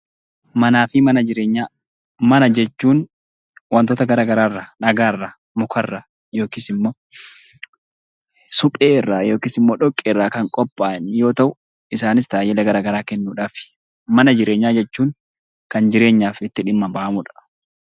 Manaa fi Mana Jireenyaa Mana jechuun wantoota garaagaraa irraa: dhagaa irraa, mukarraa, yookiis immoo suphee irraa, yookiis immoo dhoqqee irraa kan qophaa'an yoo ta'u, isaanis tajaajila garaagaraa kennuudhaafi. Mana jireenyaa jechuun kan jireenyaaf itti dhimma ba'amuu dha.